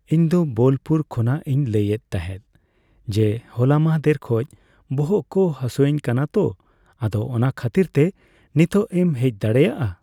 ᱤᱧ ᱫᱚ ᱵᱳᱞᱯᱩᱨ ᱠᱷᱚᱱᱟᱜ ᱤᱧ ᱞᱟᱹᱭ ᱮᱫ ᱛᱟᱸᱦᱮᱜ ᱡᱮ ᱦᱚᱞᱟ ᱢᱟᱦᱫᱮᱨ ᱠᱷᱚᱡ ᱵᱚᱦᱚᱜ ᱠᱚ ᱦᱟᱹᱥᱩᱧ ᱠᱟᱱᱟ ᱛᱚ ᱟᱫᱚ ᱚᱱᱟ ᱠᱷᱟᱹᱛᱤᱨ ᱛᱮ ᱱᱤᱛᱚᱜ ᱮᱢ ᱦᱮᱡ ᱫᱟᱲᱮᱭᱟᱜᱼᱟ ᱾